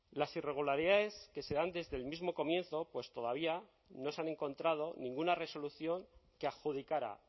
las irregularidades que se dan desde el mismo comienzo pues todavía no se han encontrado ninguna resolución que adjudicara